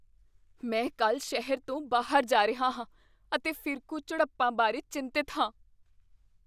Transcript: ਮੈਂ ਕੱਲ੍ਹ ਸ਼ਹਿਰ ਤੋਂ ਬਾਹਰ ਜਾ ਰਿਹਾ ਹਾਂ ਅਤੇ ਫਿਰਕੂ ਝੜਪਾਂ ਬਾਰੇ ਚਿੰਤਤ ਹਾਂ।